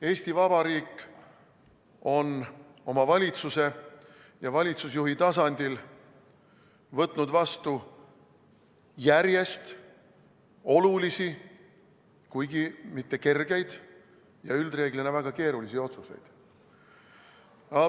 Eesti Vabariik on oma valitsuse ja valitsusjuhi tasandil võtnud vastu järjest olulisi, kuigi mitte kergeid ja üldreeglina väga keerulisi otsuseid.